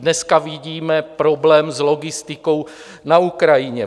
Dneska vidíme problém s logistikou na Ukrajině.